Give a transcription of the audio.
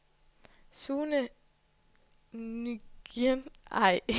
Sune Nguyen